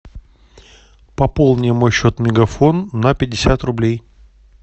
пополни мой счет мегафон на пятьдесят рублей